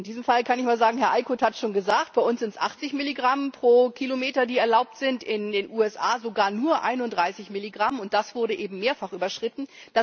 In diesem Fall kann ich nur sagen, Herr Eickhout hat es schon gesagt, bei uns sind es 80 Milligramm pro Kilometer, die erlaubt sind, in den USA sogar nur 31 Milligramm, und das wurde eben mehrfach überschritten.